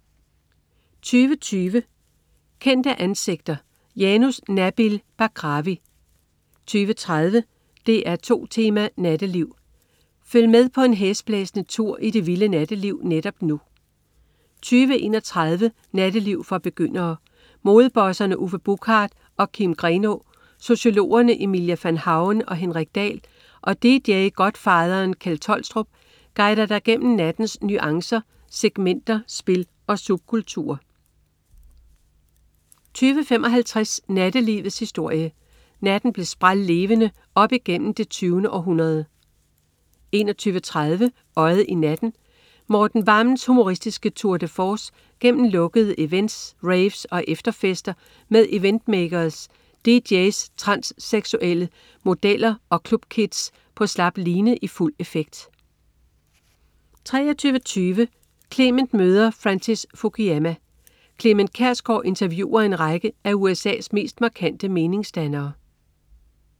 20.20 Kendte ansigter. Janus Nabil Bakrawi 20.30 DR2 Tema: Natteliv. Følg med på en hæsblæsende tur i det vildeste natteliv netop nu 20.31 Natteliv for begyndere. Modebosserne Uffe Buchard og Kim Grenaa, sociologerne Emilia Van Hauen og Henrik Dahl og dj-godfatheren Kjeld Tolstrup guider dig gennem nattens nuancer, segmenter, spil og subkulturer 20.55 Nattelivets historie. Natten blev sprællevende op gennem det 20. århundrede 21.30 Øjet i Natten. Morten Vammens humoristiske Tour de force gennem lukkede events, raves og efterfester med event-makers, dj's, transseksuelle, modeller og clubkids på slap line i fuld effekt 23.20 Clement møder Francis Fukuyama. Clement Kjersgaard interviewer en række af USA's mest markante meningsdannere